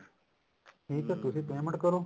ਨਹੀਂ ਤਾਂ ਤੁਸੀਂ payment ਕਰੋ